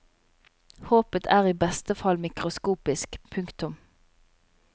Håpet er i beste fall mikroskopisk. punktum